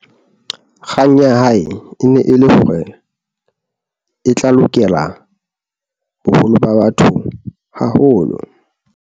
kgang ya hae e ne e le hore e tla lokela boholo ba batho haholo